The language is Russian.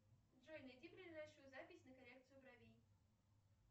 джой найди ближайшую запись на коррекцию бровей